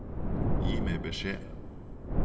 Gi meg beskjed